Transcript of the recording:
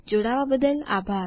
જોડાવા બદ્દલ આભાર